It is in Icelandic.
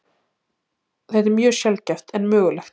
Þetta er mjög sjaldgæft en mögulegt.